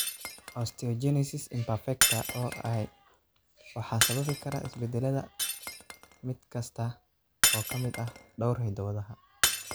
Osteogenesis imperfecta (OI) waxaa sababi kara isbeddelada (isbeddellada) mid kasta oo ka mid ah dhowr hiddo-wadaha.